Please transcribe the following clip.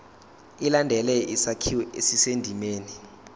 ilandele isakhiwo esisendimeni